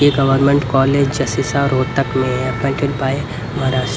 ये government college जसिसा Rohtak maintained by Maharashtra --